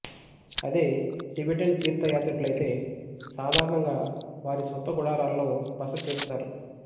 అదే టిబెటన్ తీర్థ యాత్రికులయితే సాధారణంగా వారి సొంత గుడారాల్లో బసచేస్తారు